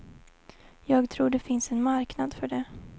Jag tror det finns en marknad för det.